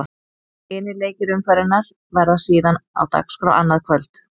Hinir leikir umferðarinnar verða síðan á dagskrá annað kvöld.